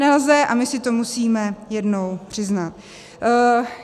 Nelze a my si to musíme jednou přiznat.